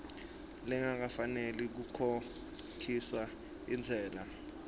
lengafanela kukhokhiswa intsela